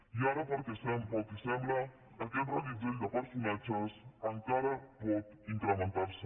i ara pel que sembla aquest reguitzell de personatges encara pot incrementar se